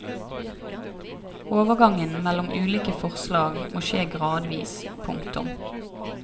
Overgangen mellom ulike fórslag må skje gradvis. punktum